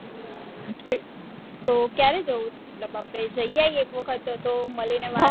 તો ક્યારે જવું મતલબ આપને જઈ આવીયે એક વખત તો મળી ને વાત